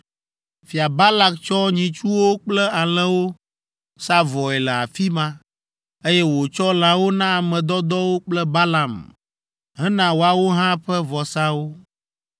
Fia Balak tsɔ nyitsuwo kple alẽwo sa vɔe le afi ma, eye wòtsɔ lãwo na ame dɔdɔwo kple Balaam hena woawo hã ƒe vɔsawo.